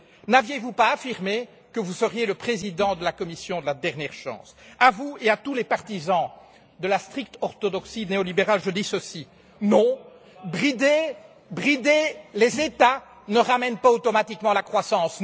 N'aviez vous pas affirmé que vous seriez le Président de la Commission de la dernière chance, à vous et à tous les partisans de la stricte orthodoxie néolibérale, je dis ceci non, brider les États ne ramène pas automatiquement la croissance.